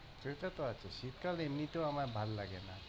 সেটাতো আছে, শীতকাল এমনিতেও আমার ভাল্লাগেনা।